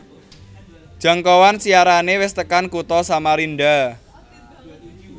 Jangkauan siarane wis tekan kutha Samarinda